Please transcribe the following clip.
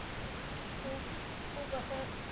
खूप, खूप असं,